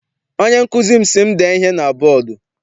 Onye nkụzi m si m dee ihe na bọdu.